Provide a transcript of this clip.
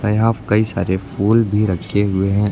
यहां पे कई सारे फूल भी रखे हुए है।